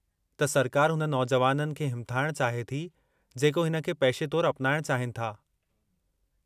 त सरकार हुन नौजुवाननि खे हिमथाइणु चाहे थी जेको हिन खे पेशे तौरु अपनाइणु चाहिनि था।